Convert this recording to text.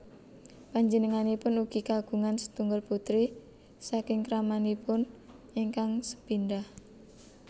Panjenenganipun ugi kagungan setunggal putri saking kramanipun ingkang sepindhah